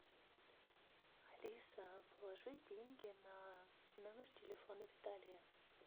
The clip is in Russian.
алиса положи деньги на номер телефона виталия